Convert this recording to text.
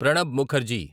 Pranab Mukherjee